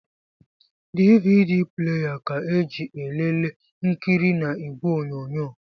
DVD pleya ka eji elelee nkiri na ìgwè onyonyo.